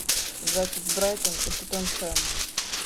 запись брайтон и тоттенхэм